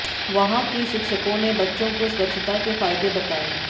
वहां के शिक्षकों ने बच्चों को स्वच्छता के फायदे बताए